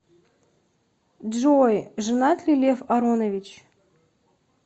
джой женат ли лев аронович